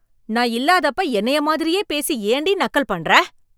நான் இல்லாதப்ப என்னைய மாதிரியே பேசி ஏண்டி நக்கல் பண்ற?